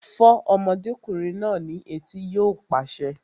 Fọ́ ọmọdékùnrin náà ní etí! Yóò pàṣẹ